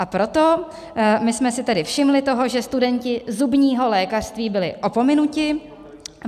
A proto my jsme si tedy všimli toho, že studenti zubního lékařství byli opomenuti.